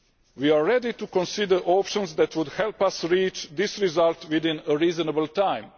We are ready to consider options that would help us reach this result within a reasonable time.